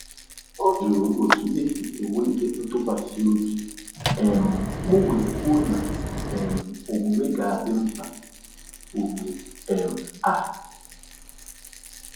Ọ jụrụ otu esi ewulite ntụkwasị obi, um m wee kwuo na um omume ga-adị mkpa ugbu um a.